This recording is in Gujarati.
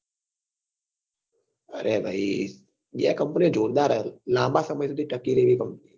અરે ભાઈ એ company જોરદાર હે લાંબા સમય સુધી તાકી રહેલી company